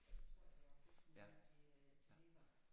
Ja det tror jeg de gør jeg kan ikke huske hvor de øh de ligger